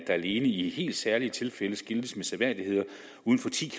alene i helt særlige tilfælde skiltes med seværdigheder uden for ti